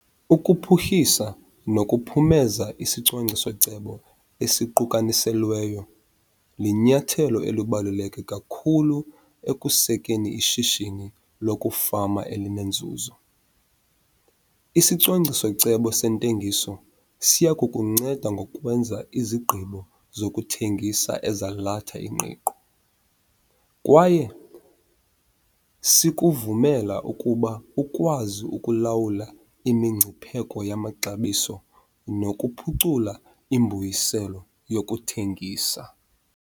Ukuphuhlisa nokuphumeza isicwangciso-cebo esiqukaniselweyo linyathelo elibaluleke kakhulu ekusekeni ishishini lokufama elinenzuzo. Isicwangciso-cebo sentengiso siya kukunceda ngokwenza izigqibo zokuthengisa ezalatha ingqiqo, kwaye sikuvumela ukuba ukwazi ukulawula imingcipheko yamaxabiso nokuphucula imbuyiselo yokuthengisa.